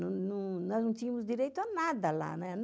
Nós não tínhamos direito a nada lá, né?